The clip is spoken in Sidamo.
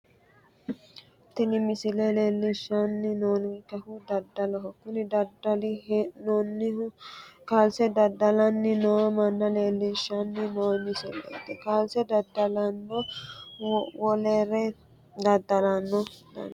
Tini misile leellishshanni noonkehu daddaloho kuni daddallanni hee'noonnihu kaalse daddalanni noo manna leellishshanni noo misileeti kaalse daddalano wolere daddalano danchate